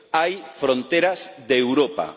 Hay fronteras de Europa.